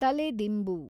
ತಲೆದಿಂಬು